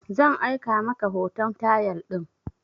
Zan aika maka hoton tayal din